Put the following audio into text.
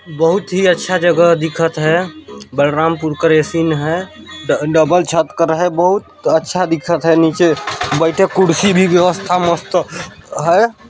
बहुत ही अच्छा जगह दिखत हय बलरामपुर करे सीन हय ड डबल छत कर हय बहुत अच्छा दिखत हय नीचे बैठे कुर्सी भी व्यवस्था मस्त हय।